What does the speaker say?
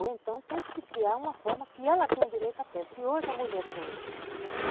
Ou então tem que se criar uma forma que ela tenha direito à pesca, que hoje a mulher tem.